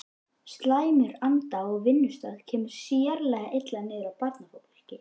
Slæmur andi á vinnustað kemur sérlega illa niður á barnafólki.